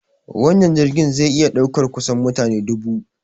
Wannan jirgin zai iya ɗaukar kusan mutane dubu.